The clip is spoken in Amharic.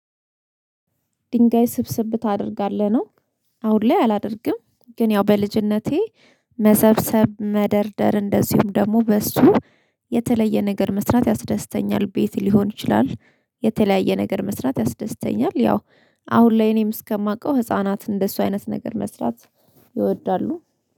ድንጋይ ስብስብ ታደርጋለህ ነው። አሁን ላይ አላደርግም ግን ያው በልጅነቴ መሰብሰብ መደርደር እንደዚሁም ደግሞ በሱ የተለየ ነገር መስራት ያስደስተኛል ቤት ሊሆን ይችላል። የተለያየ ነገር መስራት ያስደስተኛል ያው አሁን ላይ እኔም እስከማውቀው ህፃናት እንደሱ አይነት ነገር መስራት ይወዳሉ